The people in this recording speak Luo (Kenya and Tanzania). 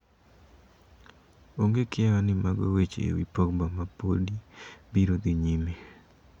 "Onge kiawa ni mago weche e wi Pogba ma podi biro dhi nyime.